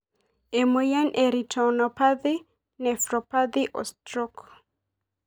Emoyian e retinopathy, nephropathy o stroke?